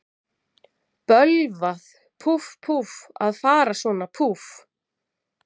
Bölvað, púff, púff, að fara svona, púff.